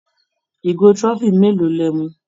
Ìgò trophy mélòó lẹ mu?